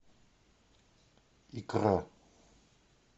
икра